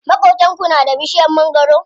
Maƙotanku na da bishiyar mangwaro?